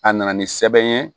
A nana ni sɛbɛn ye